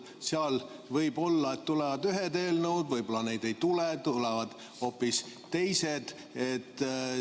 Seal võib-olla tulevad ühed eelnõud, võib-olla neid ei tule, tulevad hoopis teised.